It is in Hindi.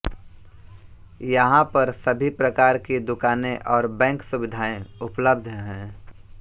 यहां पर सभी प्रकार की दुकानें और बैंक सुविधाएँ उपलब्ध हैं